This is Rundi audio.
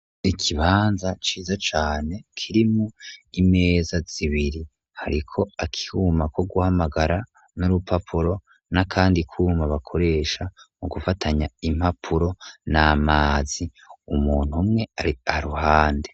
Ikibanza ciza cane kirimwo imeza zibiri hariko akuma ko guhamagara n'urupapuro n'akandi kuma bakoresha mu gufatanya impapuro na mazi, umuntu umwe ari aruhande.